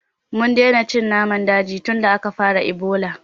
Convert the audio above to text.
Mun daina cin naman daji tunda aka fara Ebola